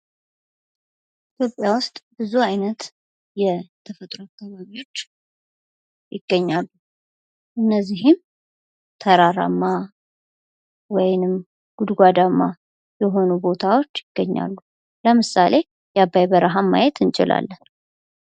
ኢትዮጵያ ዉስጥ ብዙ አይነት የተፈጥሮ አካባቢዎች ይግርኛሉ እነዚህም ተራራማ ወይንም ጉድጓዳማ የሆኑ ቦታዎች ይገኛሉ ለምሳሌ የአባይ በረሃን ማየት እንችላለን።